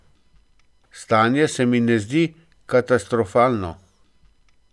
Stanje se mi ne zdi katastrofalno.